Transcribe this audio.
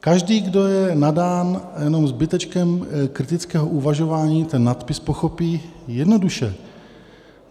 Každý, kdo je nadán jenom zbytečkem kritického uvažování, ten nadpis pochopí jednoduše.